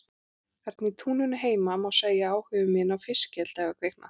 Þarna í túninu heima má segja að áhugi minn á fiskeldi hafi kviknað.